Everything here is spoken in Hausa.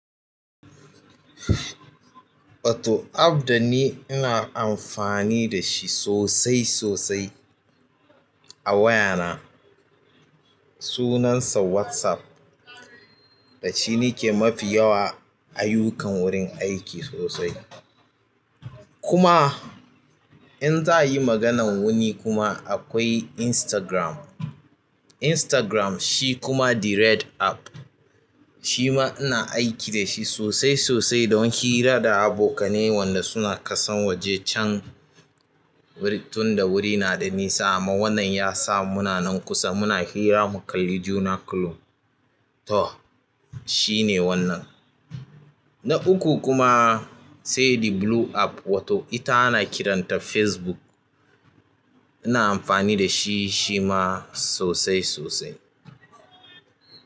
Wato app dani ina amfani da shi sosai sosai a wayana sunansa WhatsApp. Da shi nake mafi yawa ayyukan wurin aiki sosai. Kuma in za a yi maganan wuni kuma akwai Instagram. Instagram shi kuma the red app. Shi ma ina aiki da shi sosai sosai don hira da abokanai wanda suna kasan waje can tunda wuri nada nisa amma wannan yasa muna nan kusa muna hira mukalli juna kurum to shine wannan na uku kuma sai the blue app wato ita ana kiranta Facebook. Ina amfani da shi shima sosai sosai.